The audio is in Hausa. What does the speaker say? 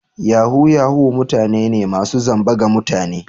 Yahoo Yahoo mutane ne masu zamba ga mutane.